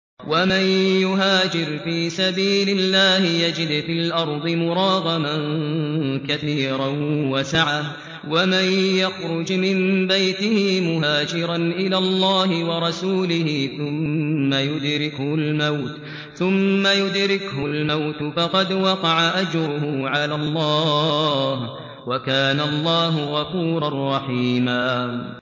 ۞ وَمَن يُهَاجِرْ فِي سَبِيلِ اللَّهِ يَجِدْ فِي الْأَرْضِ مُرَاغَمًا كَثِيرًا وَسَعَةً ۚ وَمَن يَخْرُجْ مِن بَيْتِهِ مُهَاجِرًا إِلَى اللَّهِ وَرَسُولِهِ ثُمَّ يُدْرِكْهُ الْمَوْتُ فَقَدْ وَقَعَ أَجْرُهُ عَلَى اللَّهِ ۗ وَكَانَ اللَّهُ غَفُورًا رَّحِيمًا